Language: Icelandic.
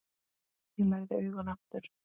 Ég lagði augun aftur.